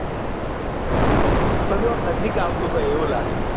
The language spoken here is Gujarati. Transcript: કશું આમ નજીક આવતું હોય એવુ લાગે